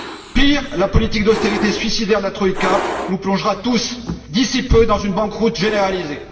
Pire, la politique d'austérité suicidaire de la troïka nous plongera tous d'ici peu dans une banqueroute généralisée.